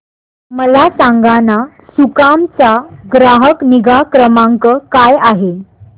मला सांगाना सुकाम चा ग्राहक निगा क्रमांक काय आहे